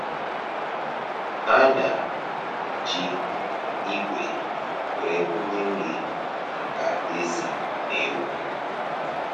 A na-eji igwe were kụnye nri maka ezì na ewu.